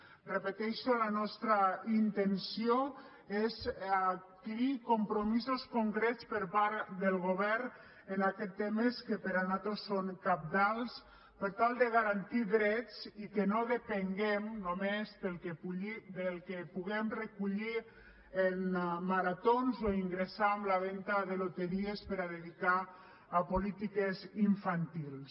ho repeteixo la nostra intenció és adquirir compromisos concrets per part del govern en aquests temes que per nosaltres són cabdals per tal de garantir drets i que no depenguem només del que puguem recollir en maratons o ingressar amb la venda de loteries per a dedicar ho a polítiques infantils